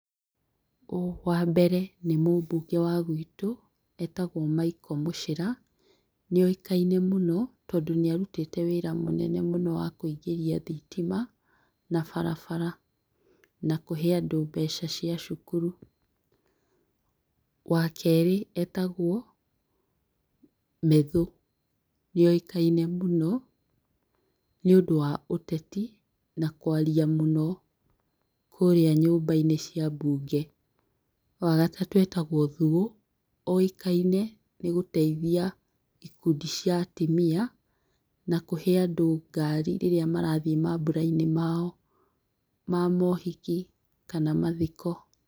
Wambere nĩ mũmbunge wa guitũ etagwo Michael Muchira nĩoĩkaine mũno tondũ nĩarutĩte wĩra mũnene mũno wa kũingĩria thitima na barabara na kũhe andũ mbeca cĩa cukuru. Wakerĩ etagwo Methũ nĩoĩkaine mũno nĩũndũ wa ũteti na kwaria mũno kũrĩa nyumbainĩ cia mbunge. Wagatatũ etagwo Thuo oĩkaine nĩgũteithia ikundi cĩa atimia na kũhe andũ ngari rĩrĩa marathiĩ mamburainĩ mao ma mohiki kana mathiko.